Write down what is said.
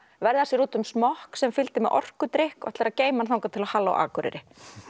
verða sér út um smokk sem fylgdi með orkudrykk og ætlar að geyma hann þangað til á halló Akureyri